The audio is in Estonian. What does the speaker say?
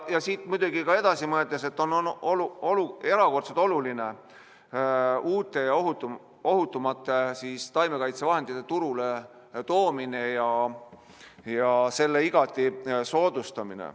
Siit edasi mõeldes on muidugi ka erakordselt oluline uute ja ohutumate taimekaitsevahendite turule toomine ja selle igati soodustamine.